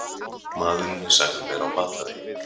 Maðurinn er sagður vera á batavegi